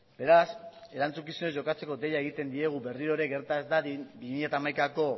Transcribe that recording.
beraz erantzukizunez jokatzeko deia egiten diegu berriro ere gerta ez dadin bi mila hamaikako